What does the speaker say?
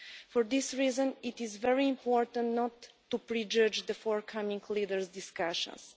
For this reason, it is very important not to prejudge the forthcoming Leaders discussions.